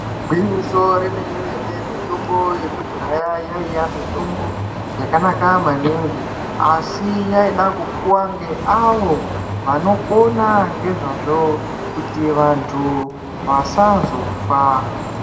Igwinyiso remenemene mitombo yekudhaya yaiya mitombo yakanaka maningi asi yaida kupuwa ngeawo vano kona ngezvazvo kuti vanhu vasazofa.